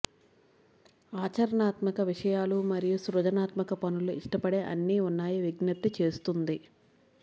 ఆచరణాత్మక విషయాలు మరియు సృజనాత్మక పనులు ఇష్టపడే అన్ని ఉన్నాయి విజ్ఞప్తి చేస్తుంది